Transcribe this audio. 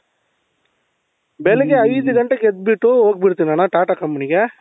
ಬೆಳಿಗ್ಗೆ ಐದು ಗಂಟೆಗೆ ಎದ್ಬಿಟ್ಟು ಹೋಗಬಿಡ್ತೀನಣ್ಣ tata company ಗೆ